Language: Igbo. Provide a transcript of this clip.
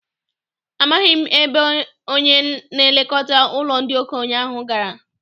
Amaghị m ebe onye na-elekọta ụlọ ndị okenye ahụ gara.